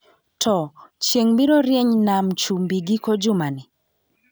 Too, chieng' biro rieny nam chumbi giko jumani